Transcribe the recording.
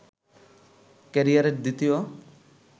ক্যারিয়ারের দ্বিতীয়